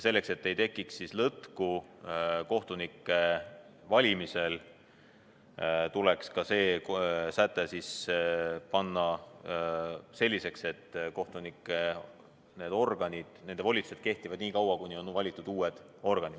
Selleks, et ei tekiks lõtku kohtunike valimisel, tuleks ka see säte kohendada selliseks, et nende organite volitused kehtivad nii kaua, kuni on valitud uued organid.